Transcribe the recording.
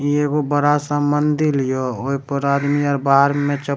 इ एगो बड़ा-सा मंदिर यो ओय पर आदमी आर बाहर मे चप --